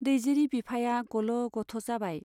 दैजिरि बिफाया गल' गथ' जाबाय।